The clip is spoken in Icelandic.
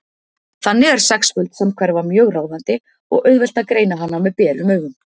Þannig er sexföld samhverfa mjög ráðandi og auðvelt að greina hana með berum augum.